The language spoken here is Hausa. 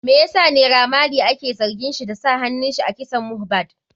Me yasa naira marley ake zargin shi da sa hanunsa a kisan mohbad?